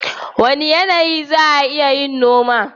Wane yanayi za'a iya yin noma?